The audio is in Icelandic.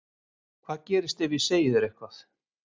Hvað gerist ef ég segi þér eitthvað?